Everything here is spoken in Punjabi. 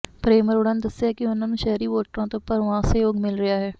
ਪ੍ਰੇਮ ਅਰੋੜਾ ਨੇ ਦੱਸਿਆ ਕਿ ਉਨ੍ਹਾਂ ਨੂੰ ਸ਼ਹਿਰੀ ਵੋਟਰਾਂ ਤੋਂ ਭਰਵਾਂ ਸਹਿਯੋਗ ਮਿਲ ਰਿਹਾ ਹੈ